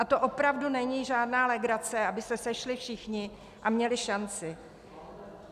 A to opravdu není žádná legrace, aby se sešli všichni a měli šanci.